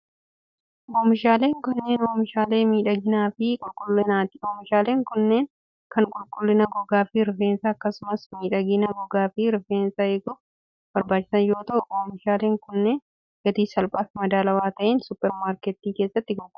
Oomishaaleen kunneen, oomishaalee miidhaginaa fi qulqullinaati. Oomishaaleen kunneen, kan qulqullina gogaa fi rifeensaa akkasumas miidhagina gogaa fi rifeensaa eeguuf barbaachisan yoo ta'u, oomishaaleen kunneen gatii salphaa fi madaalawaa ta'een supparmaarkettii keessatti gurguramu,